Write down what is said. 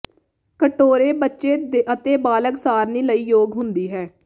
ਕਟੋਰੇ ਬੱਚੇ ਅਤੇ ਬਾਲਗ ਸਾਰਣੀ ਲਈ ਯੋਗ ਹੁੰਦੀ ਹੈ